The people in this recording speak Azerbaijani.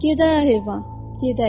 Gedəyə heyvan, gedək.